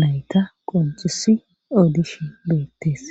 nayta qoncisi audishi beettees